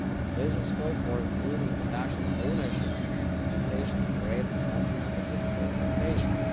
There is scope for improving the national ownership and implementation rate of country specific recommendations.